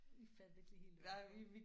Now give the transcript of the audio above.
I fattede ikke lige helt hvad der